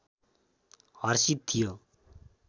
हर्षित थियो